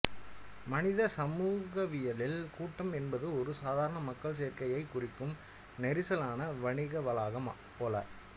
மனித சமூகவியலில் கூட்டம் என்பது ஒரு சாதாரண மக்கள் சேர்க்கையை குறிக்கும் நெரிசலான வணிகவளாகம் போல